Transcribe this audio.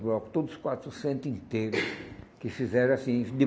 blocos, todos quatrocentos inteiro, que fizeram assim, de